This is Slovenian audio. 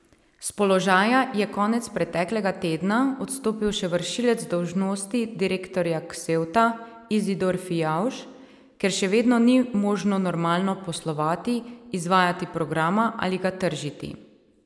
S položaja je konec preteklega tedna odstopil še vršilec dolžnosti direktorja Ksevta Izidor Fijavž, ker še vedno ni možno normalno poslovati, izvajati programa ali ga tržiti.